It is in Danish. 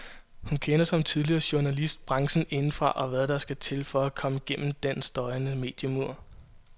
Hun kender, som tidligere journalist, branchen indefra og ved hvad der skal til for at komme gennem den støjende mediemur.